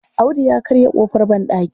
Audu ya karya ƙofar banɗaki.